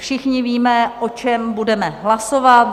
Všichni víme, o čem budeme hlasovat.